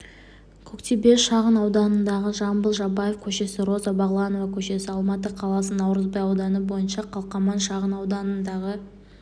көктөбе шағынауданындағы жамбыл жабаев көшесі роза бағланова көшесі алматы қаласы наурызбай ауданы бойынша қалқаман шағынауданындағы